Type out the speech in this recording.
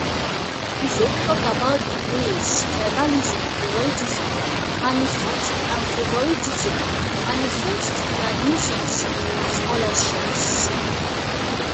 you fit talk about di ways tribalism and favoritism manifest and favoritism manifest in admissions and scholarships.